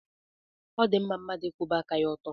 Ọ dị mma mmadụ ịkwụba aka ya ọtọ.